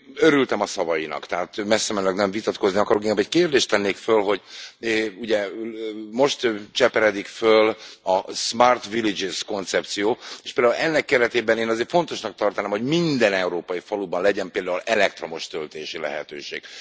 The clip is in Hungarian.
Örültem a szavainak, tehát messzemenőleg nem vitatkozni akarok, inkább egy kérdést tennék föl, hogy ugye most cseperedik föl a smart villages koncepció, és például ennek keretében én azért fontosnak tartanám, hogy minden európai faluban legyen például elektromos töltési lehetőség.